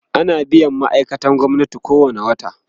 ana biyan ma'aikatan gwamnati kowani wata